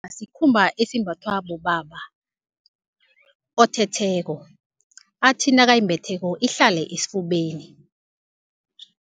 sikhumba esimbathwa bobaba, othetheko athi, nakayimbetheko ihlale esifubeni.